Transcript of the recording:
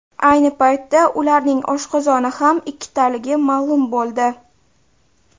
Ayni paytda ularning oshqozoni ham ikkitaligi ma’lum bo‘ldi.